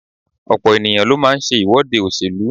Ọ̀pọ̀ ènìyàn ló máa ń ṣe ìwọ́de òṣèlú.